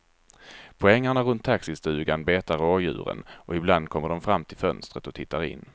På ängarna runt taxistugan betar rådjuren och ibland kommer de fram till fönstret och tittar in.